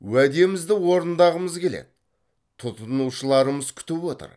уәдемізді орындағымыз келеді тұтынушыларымыз күтіп отыр